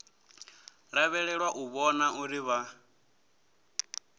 lavhelelwa u vhona uri vha